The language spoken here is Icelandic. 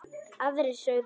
Aðrir sögðu: